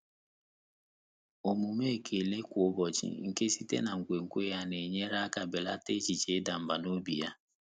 Ọ́mụ́mé ékèlé kwá ụ́bọ̀chị̀ nké sìté nà nkwènkwe yá nà-ényéré áká bèlàtà échíché ị́dà mbà n’óbí yá.